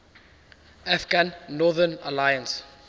afghan northern alliance